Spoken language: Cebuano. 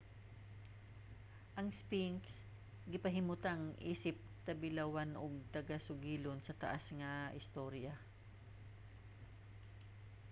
ang sphinx gipahimutang isip tabilawan ug tagasugilon sa taas nga istorya